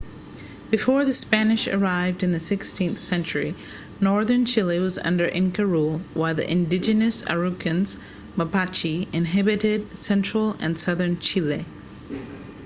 before the spanish arrived in the 16th century northern chile was under inca rule while the indigenous araucanians mapuche inhabited central and southern chile